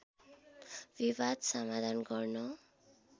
विवाद समाधान गर्न